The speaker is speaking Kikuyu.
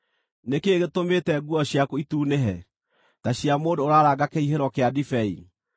Nĩ kĩĩ gĩtũmĩte nguo ciaku itunĩhe, ta cia mũndũ ũraranga kĩhihĩro kĩa ndibei?